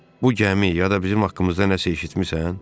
Bu gəmi ya da bizim haqqımızda nəsə eşitmisən?